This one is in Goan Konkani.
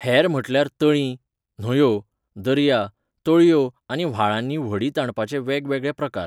हेर म्हटल्यार तळीं, न्हंयो, दर्या, तळयो आनी व्हाळांनी व्हडीं ताणपाचे वेगवेगळे प्रकार.